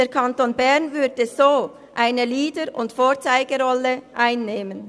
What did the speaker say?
Der Kanton Bern würde so eine Leader- und Vorzeigerolle einnehmen.